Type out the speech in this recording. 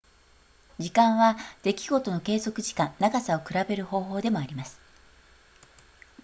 時間は出来事の継続時間長さを比べる方法でもあります